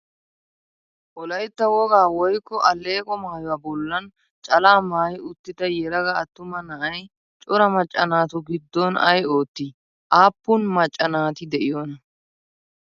Wolayitta wogaa woykko alleeqo maayuwa bollan calaa maayi uttida yelaga attuma na'ayi cora macca naatu giddon ayi oottii? Aappun macca naati de'iyoonaa?